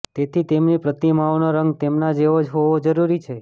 તેથી તેમની પ્રતિમાઓનો રંગ તેમના જેવો જ હોવો જરૂરી છે